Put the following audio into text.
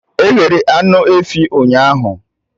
E ghere anụ efi ahụ ụnyaahụ